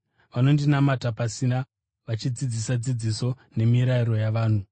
Vanondinamata pasina; vachidzidzisa dzidziso nemirayiro yavanhu.’ ”